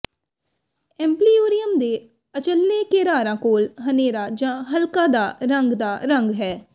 ਐਂਪਲਿਯੂਰੀਅਮ ਦੇ ਅਚੱਲੇ ਘੇਰਾਰਾਂ ਕੋਲ ਹਨੇਰਾ ਜਾਂ ਹਲਕਾ ਦਾ ਰੰਗ ਦਾ ਰੰਗ ਹੈ